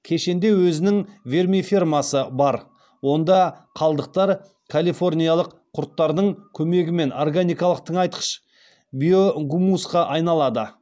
кешенде өзінің вермифермасы бар онда қалдықтар калифорниялық құрттардың көмегімен органикалық тыңайтқыш биогумусқа айналады